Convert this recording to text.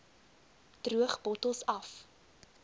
droog bottels af